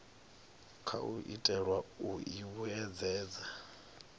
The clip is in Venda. khou itelwa u i vhuedzedza